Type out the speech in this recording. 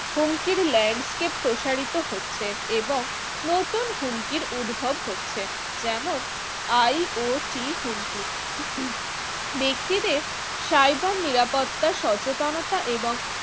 হুমকির land কে প্রসারিত করছে এবং নতুন হুমকির উদ্ভব হচ্ছে যেমন IOC হুমকি ব্যক্তিকে cyber নিরাপত্তা সচেতনতা এবং